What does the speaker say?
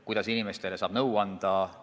Kuidas inimestele saab nõu anda?